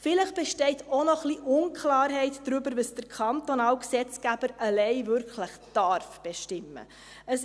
Vielleicht besteht auch noch ein bisschen Unklarheit darüber, was der kantonale Gesetzgeber allein wirklich bestimmen darf.